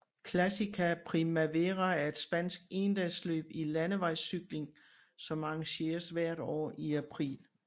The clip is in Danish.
Klasika Primavera er et spansk endagsløb i landevejscykling som arrangeres hvert år i april